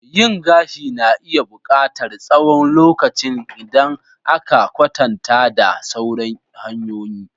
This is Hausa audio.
Yin gashi na iya buƙatar tsawon lokacin idan aka kwatanta da sauran hanyoyin.